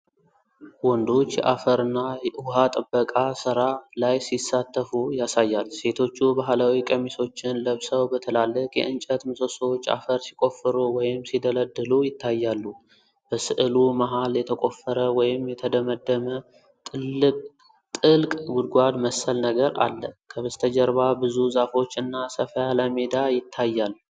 ወንዶች የአፈርና ውሃ ጥበቃ ሥራ ላይ ሲሳተፉ ያሳያል። ሴቶቹ ባህላዊ ቀሚሶችን ለብሰው በትላልቅ የእንጨት ምሰሶዎች አፈር ሲቆፍሩ ወይም ሲደለድሉ ይታያሉ። በሥዕሉ መሃል የተቆፈረ ወይም የተደመደመ ጥልቅ ጉድጓድ መሰል ነገር አለ። ከበስተጀርባ ብዙ ዛፎች እና ሰፋ ያለ ሜዳ ይታያል።